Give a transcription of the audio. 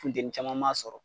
Funteni caman ma sɔrɔ.